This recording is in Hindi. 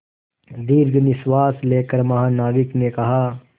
दीर्घ निश्वास लेकर महानाविक ने कहा